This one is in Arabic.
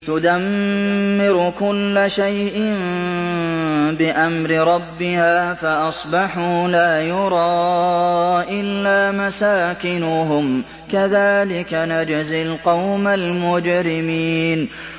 تُدَمِّرُ كُلَّ شَيْءٍ بِأَمْرِ رَبِّهَا فَأَصْبَحُوا لَا يُرَىٰ إِلَّا مَسَاكِنُهُمْ ۚ كَذَٰلِكَ نَجْزِي الْقَوْمَ الْمُجْرِمِينَ